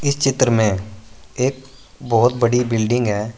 इस चित्र में एक बहुत बड़ी बिल्डिंग है।